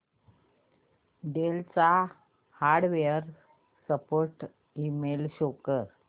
del चा hardware support email show कर